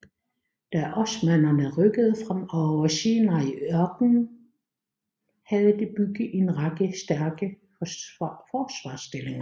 Da osmannerne rykkede frem over Sinaiørkenen havde de bygget en række stærke forsvarsstillinger